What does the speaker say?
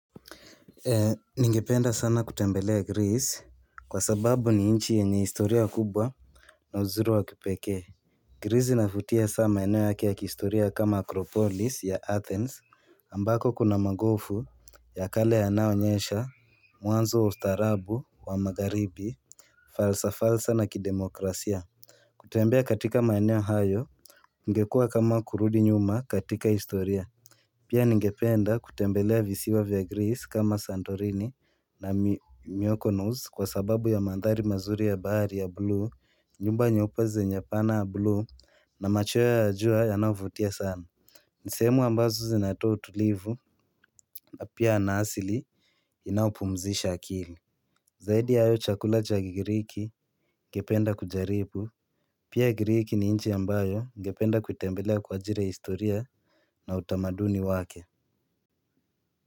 Ningependa sana kutembelea Greece Kwa sababu ni inchi yenye historia kubwa na uzuri wa kipekee Greece inavutia hasaa maeneo yake ya kihistoria kama akropolis ya athens ambako kuna magofu ya kale yanaonyesha Mwanzo ustarabu wa magaribi Falsa falsa na kidemokrasia kutembea katika maeneo hayo ingekua kama kurudi nyuma katika historia Pia ningependa kutembelea visiwa vya Greece kama santorini na mioko nus kwa sababu ya mandhari mazuri ya bahari ya blue nyumba nyeupe zenye pana ya blue na machweo ya jua yanaovutia sana Nisehemu ambazo zinatoa utulivu na pia yana asili inaopumzisha akili Zaidi ya hayo chakula cha gigiriki ningependa kujaribu Pia giriki ni inchi ambayo ningependa kuitembelea kwa ajiri ya historia na utamaduni wake.